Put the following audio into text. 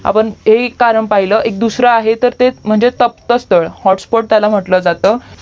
आपण हे ही एक कारण पहिलं दूसरा एक आहे ते तप्त स्थळ हॉट स्पॉट त्याला म्हंटलं जातं